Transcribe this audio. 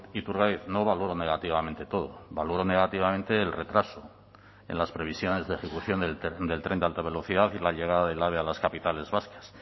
iturgaiz no valoro negativamente todo valoro negativamente el retraso en las previsiones de ejecución del tren de alta velocidad y la llegada del ave a las capitales vascas